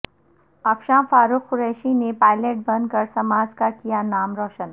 افشاں Farooq Qureshi نے pilot بن کر سماج کا کیا نا م روشن